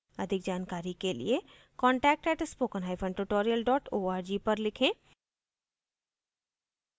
अधिक जानकारी के लिए contact @spokentutorial org पर लिखें